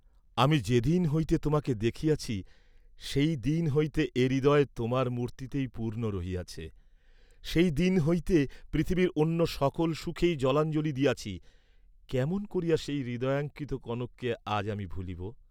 আমি যে দিন হইতে তোমাকে দেখিয়াছি সেই দিন হইতে এ হৃদয় তোমার মূর্ত্তিতেই পূর্ণ রহিয়াছে, সেই দিন হইতে পৃথিবীর অন্য সকল সুখেই জলাঞ্জলি দিয়াছি, কেমন করিয়া সেই হৃদয়াঙ্কিত কনককে আজ আমি ভুলিব!